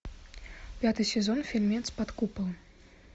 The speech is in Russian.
пятый сезон фильмец под куполом